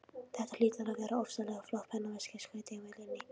Þetta hlýtur að vera ofsalega flott pennaveski, skaut Emil inní.